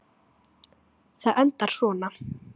Það endar svona